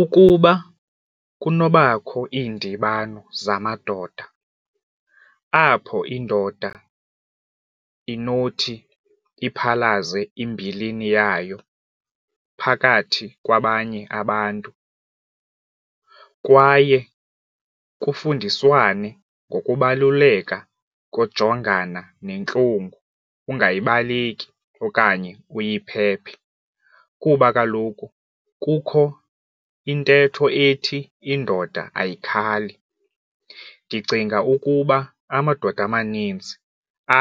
Ukuba kunobakho iindibano zamadoda apho indoda inothi iphalaze imbilini yayo phakathi kwabanye abantu kwaye kufundiswane ngokubaluleka kojongana nentlungu ungayibaleki okanye uyiphephe kuba kaloku kukho intetho ethi indoda ayikhali ndicinga ukuba amadoda amanintsi